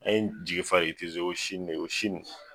An ye jigi fa de ko